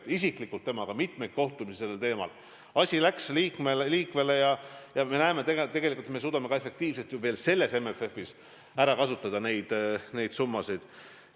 Mul oli isiklikult temaga mitmeid kohtumisi sellel teemal, asi läks liikvele ja me näeme, et me suudame tegelikult veel selle MFF-i raames neid summasid efektiivselt kasutada.